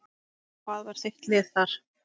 Hvað var þitt lið þar?